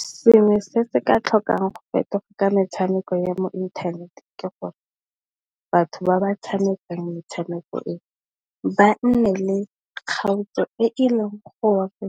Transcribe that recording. Selo se se ka tlhokang go fetoga ka metshameko ya mo inthaneteng ke gore, batho ba ba tshamekang metshameko e, ba nne le kgaotso e e leng gore